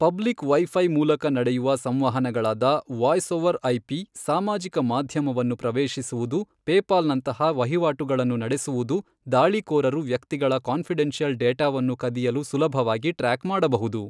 Public wifi ಮೂಲಕ ನಡೆಯುವ ಸಂವಹನಗಳಾದ ವಾಯ್ಸ್ ಓವರ್ ಐಪಿ ಸಾಮಾಜಿಕ ಮಾಧ್ಯಮವನ್ನು ಪ್ರವೇಶಿಸುವುದು ಪೇಪಾಲ್ ನಂತಹ ವಹಿವಾಟುಗಳನ್ನು ನಡೆಸುವುದು ದಾಳಿಕೋರರು ವ್ಯಕ್ತಿಗಳ ಕಾಂಫಿಡೆನ್ಶಿಯಲ್ ಡೇಟಾವನ್ನು ಕದಿಯಲು ಸುಲಭವಾಗಿ ಟ್ರ್ಯಾಕ್ ಮಾಡಬಹುದು.